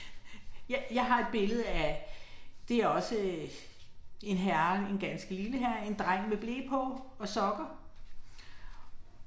Jeg har et billede af, det også en herre, en ganske lille herre, en dreng med ble på og sokker